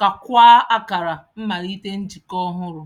kakwaa akara mmalite njikọ ọhụrụ.